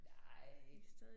Nej